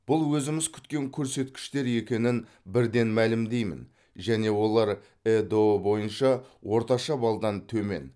бұл өзіміз күткен көрсеткіштер екенін бірден мәлімдеймін және олар эыдұ бойынша орташа балдан төмен